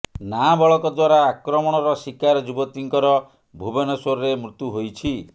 ନାବାଳକ ଦ୍ୱାରା ଆକ୍ରମଣର ଶିକାର ଯୁବତୀଙ୍କର ଭୁବନେଶ୍ୱରରେ ମୃତ୍ୟୁ ହୋଇଛି